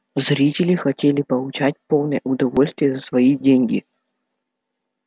зрители хотели получать полное удовольствие за свои деньги